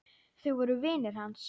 Þau voru vinir hans.